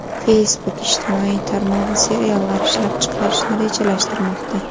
Facebook ijtimoiy tarmog‘i seriallar ishlab chiqarishni rejalashtirmoqda.